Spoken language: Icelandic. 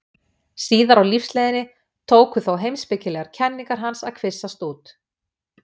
Síðar á lífsleiðinni tóku þó heimspekilegar kenningar hans að kvisast út.